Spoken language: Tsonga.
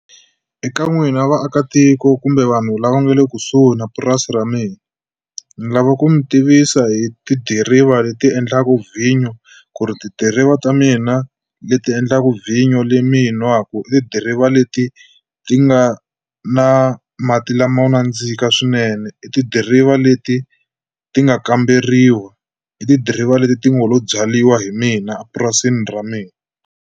Eka n'wina vaakatiko kumbe vanhu lava nga le kusuhi na purasi ra mina ni lava ku mi tivisa hi tidiriva leti endlaka vhinyo ku ri tidiriva ta mina leti endlaka vhinyo leyi mi yi nwaku i tidiriva leti ti nga na mati lamo nandzika swinene i tidiriva leti ti nga kamberiwa hi tidiriva leti ti nga lo byariwa hi mina epurasini ra mina.